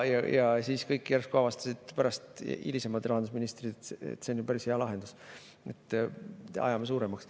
Ja pärast kõik järsku avastasid, hilisemad rahandusministrid, et see on ju päris hea lahendus: ajame suuremaks.